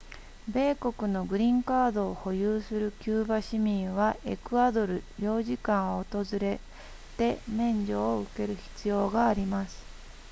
米国のグリーンカードを保有するキューバ市民はエクアドル領事館を訪れて免除を受ける必要があります